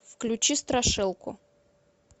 включи страшилку